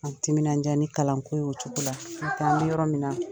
timinandiya ni kalanko ye o cogo la, an bɛ yɔrɔ minna